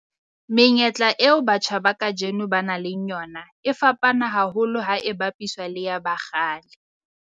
Menyetla eo batjha ba kajeno ba nang le yona e fapana haholo ha e bapiswa le ya ba kgale.